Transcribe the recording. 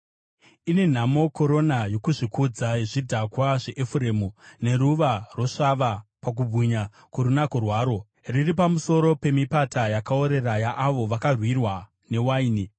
Ine nhamo korona yokuzvikudza, yezvidhakwa zveEfuremu, neruva rosvava pakubwinya kworunako rwaro, riri pamusoro pemipata yakaorera yaavo vakurirwa newaini!